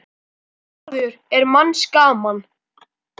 maður er manns gaman.